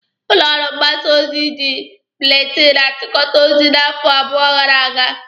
Ụlọ ọrụ mgbasa ozi ji buletinụ chịkọta ozi n'afọ abụọ gara aga.